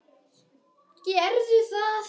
Gerðu það!